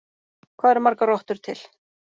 Hvað eru margar rottur til?